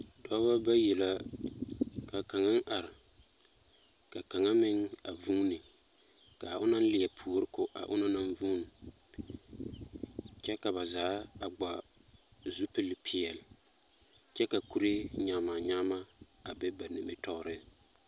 Dͻbͻ bayi la, ka kaŋa are ka kaŋa meŋ a vuuni, ka onaŋ leԑ puori ko a onaŋ naŋ vuuni, kyԑ ka ba zaa a gba zupili peԑle kyԑ ka kuree nyama-nyama a be ba nimitͻͻreŋ.